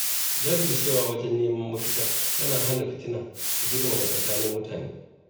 Jajircewa wajen neman mafita tana hana fitina ta girmama tsakanin mutane